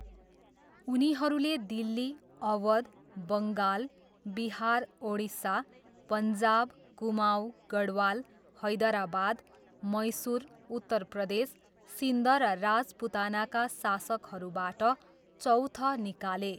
उनीहरूले दिल्ली, अवध, बङ्गाल, बिहार, ओडिसा, पन्जाब, कुमाऊँ, गढवाल, हैदराबाद, मैसुर, उत्तर प्रदेश, सिन्ध र राजपुतानाका शासकहरूबाट चौथ निकाले।